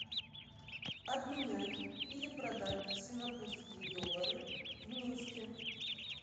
обменять или продать сингапурские доллары в минске